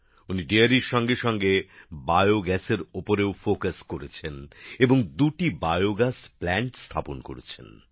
উনি ডেয়ারীর সঙ্গে সঙ্গে বায়োগ্যাসের ওপরেও গুরুত্ব দিচ্ছেন এবং দুটি জৈবগ্যাস প্ল্যান্ট স্থাপন করেছেন